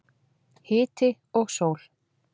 Hiti og sól.